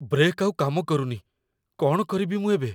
Brake ଆଉ କାମ କରୁନି । କ'ଣ କରିବି ମୁଁ ଏବେ?